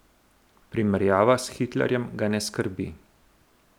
Primerjava s Hitlerjem ga ne skrbi.